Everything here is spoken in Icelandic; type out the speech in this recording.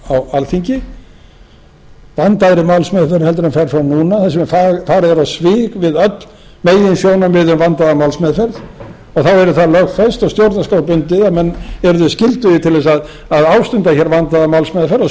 alþingi vandaðri málsmeðferð heldur en fer fram núna þar sem farið er á svig við öll meginsjónarmið um vandaða málsmeðferð og þá yrði það lögfest og stjórnarskrár gildi ef menn yrðu skyldugir til þess að ástunda hér vandaða málsmeðferð og